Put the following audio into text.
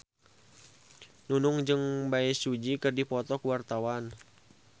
Nunung jeung Bae Su Ji keur dipoto ku wartawan